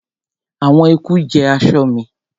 àwọn eku jẹ aṣọ mi